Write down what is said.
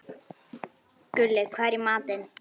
Gulli, hvað er í matinn?